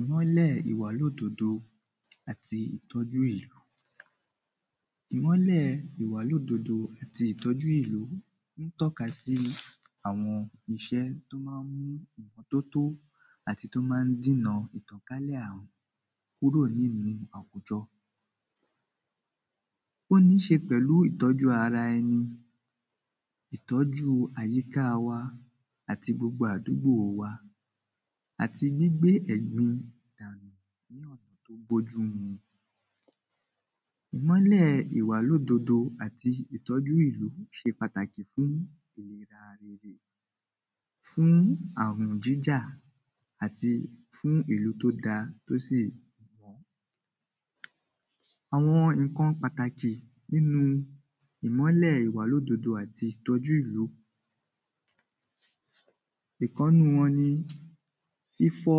Ìmọ́lẹ̀ ìwàlódodo àti ìtọ́jú ìlú Ìmọ́lẹ̀ ìwàlódodo àti ìtọ́jú ìlú ń tọ́ka sí àwọn ìṣẹ́ tí ó ma ń mú ìmọtótó àti tí o ma ń dína ìtànkálẹ̀ ààrùn kúrò nínú àwùjọ Ó níí ṣe pẹ̀lú ìtọ́jú ara ẹni ìtọ́jú àyíká wa àti gbogbo àdúgbò wa àti gbígbé ẹ̀gbin dànù ní ọ̀na tí ó bójú mu Ìmọ́lẹ̀ ìwàlódodo àti ìtọ́jú ìlú ṣe pàtàkì fún Fún ààrùn jíjà àti fún ìlú tí ó da tí ó sì Àwọn nǹkan pàtàkì nínú ìmọ́lẹ̀ ìwàlódodo àti ìtọ́jú ìlú Ìkan nínú wọn ni fífọ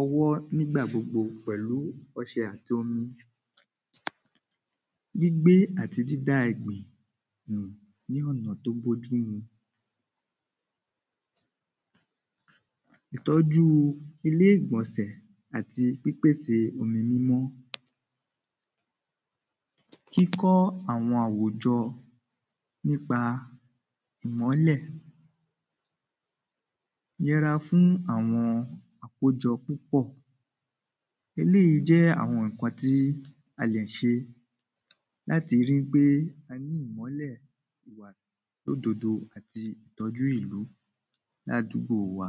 ọwọ́ ní ìgbà gbogbo pẹ̀lú ọṣẹ àti omi Gbígbẹ àti dída ẹ̀gbin nù ní ọ̀nà tí ó bójú mu Ìtọ́jú ilé ìgbọ̀nsẹ̀ àti pípèse omi mímọ́ Kíkọ́ àwọn àwùjọ nípa ìmọ́lẹ̀ Yẹra fún àwọn àkójọ púpọ̀ Eléyìí jẹ́ àwọn nǹkan tí a lè ṣe láti ri pé a ní ìmọ́lẹ̀ ìwàlódodo àti ìtọ́jú ìlú ní àdúgbò wa